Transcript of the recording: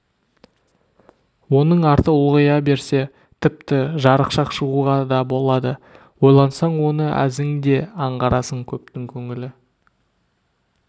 оның арты ұлғая берсе тіпті жарықшақ шығуға да болады ойлансаң оны әзің де аңғарасың көптің көңілі